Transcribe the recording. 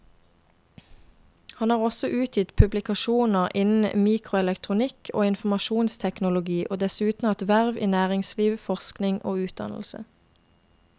Han har også utgitt publikasjoner innen mikroelektronikk og informasjonsteknologi og dessuten hatt verv i næringsliv, forskning og utdannelse.